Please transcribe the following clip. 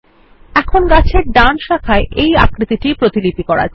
এখন গাছের ডান শাখায় এই আকৃতিটির প্রতিলিপি করা যাক